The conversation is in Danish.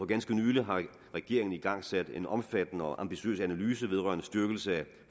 ganske nylig har regeringen igangsat en omfattende og ambitiøs analyse vedrørende styrkelse af